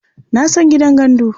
Na san gidan gandu.